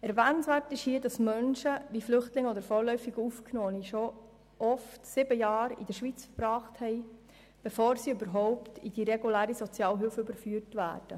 Erwähnenswert ist hier, dass Menschen wie Flüchtlinge oder vorläufig Aufgenommene oft bereits sieben Jahre in der Schweiz verbracht haben, bevor sie überhaupt in die reguläre Sozialhilfe überführt werden.